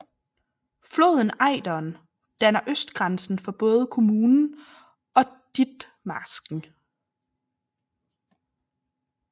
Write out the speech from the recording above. Floden Ejderen danner østgrænsen for både kommunen og Ditmarsken